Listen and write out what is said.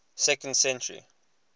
second century